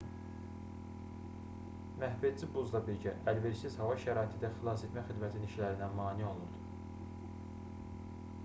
məhvedici buzla birgə əlverişsiz hava şəraiti də xilasetmə xidmətinin işlərinə mane olurdu